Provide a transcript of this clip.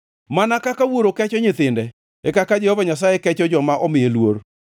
Mana kaka wuoro kecho nyithinde, e kaka Jehova Nyasaye kecho joma omiye luor;